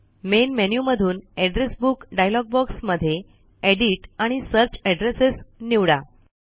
main menu मधून address book dialog box मध्ये edit आणि सर्च एड्रेसेस निवडा